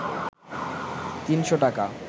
৩শ’ টাকা